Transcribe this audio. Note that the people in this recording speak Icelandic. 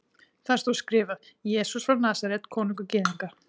Þar stóð skrifað: Jesús frá Nasaret, konungur Gyðinga.